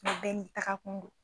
N bɛɛ taga kun dɔn.